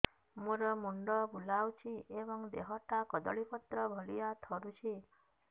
ମୋର ମୁଣ୍ଡ ବୁଲାଉଛି ଏବଂ ଦେହଟା କଦଳୀପତ୍ର ଭଳିଆ ଥରୁଛି